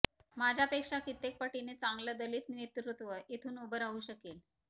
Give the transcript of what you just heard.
माझ्यापेक्षा कित्येक पटींनी चांगलं दलित नेतृत्व इथून उभं राहू शकेल